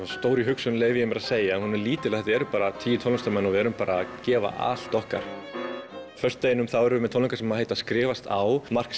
stór í hugsun leyfi ég mér að segja en hún er lítil því þetta eru bara tíu tónlistarmenn og við erum að gefa allt okkar á föstudaginn erum við með tónleika sem heita skrifast á Mark